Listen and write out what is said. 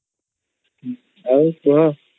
ଆଉ କୁହ